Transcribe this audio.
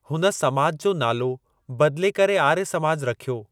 हुन समाज जो नालो बदिले करे आर्य समाज रखियो वियो।